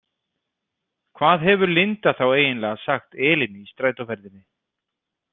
Hvað hefur Linda þá eiginlega sagt Elínu í strætóferðinni?